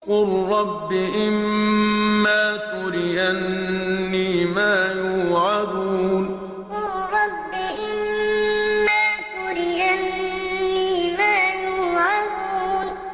قُل رَّبِّ إِمَّا تُرِيَنِّي مَا يُوعَدُونَ قُل رَّبِّ إِمَّا تُرِيَنِّي مَا يُوعَدُونَ